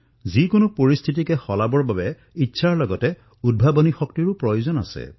যিকোনো পৰিস্থিতি পৰিৱৰ্তনৰ বাবে ইচ্ছাশক্তিৰ সৈতে উদ্ভাৱনৰ ওপৰতো বহুখিনি নিৰ্ভৰ কৰে